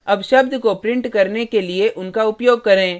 अब शब्द को print करने के लिए उनका उपयोग करें